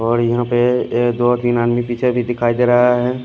और यहां पे एक दो तीन आदमी पीछे भी दिखाई दे रहा है।